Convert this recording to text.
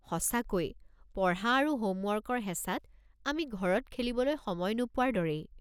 সঁচাকৈ, পঢ়া আৰু হ'মৱৰ্কৰ হেঁচাত আমি ঘৰত খেলিবলৈ সময় নোপোৱাৰ দৰেই।